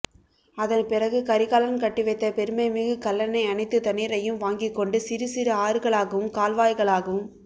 அதன்பிறகு கரிகாலன் கட்டிவைத்த பெருமை மிகு கல்லனை அனைத்து தண்ணீரையும் வாங்கிக்கொண்டு சிறு சிறு ஆறுகளாகவும் கால்வாய்களாகவும்